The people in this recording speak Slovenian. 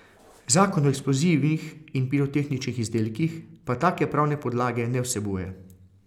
Zakon o eksplozivih in pirotehničnih izdelkih pa take pravne podlage ne vsebuje.